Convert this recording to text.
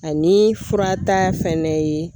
Ani fura ta fɛnɛ ye